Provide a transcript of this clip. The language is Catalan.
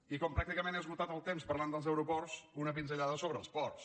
i com que pràcticament he esgotat el temps parlant dels aeroports una pinzellada sobre els ports